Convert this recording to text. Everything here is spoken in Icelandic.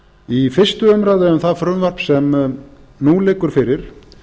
í fyrstu umræðu um það frumvarp sem nú liggur fyrir